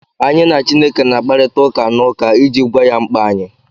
Anyị na Chineke na-akparịta ụka n’ụka iji gwa ya mkpa anyị